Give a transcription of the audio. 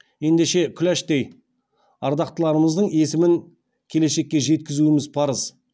ендеше күләштей ардақтыларымыздың есімін келешекке жеткізуіміз парыз